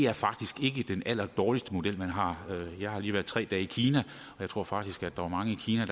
er faktisk ikke den allerdårligste model man har jeg har lige været tre dage i kina og jeg tror faktisk der er mange i kina